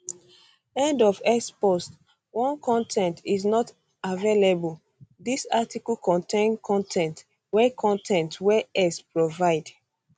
end of x post 1 con ten t is not um available dis article contain con ten t wey con ten t wey x provide um